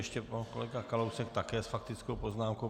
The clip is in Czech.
Ještě pan kolega Kalousek, také s faktickou poznámkou.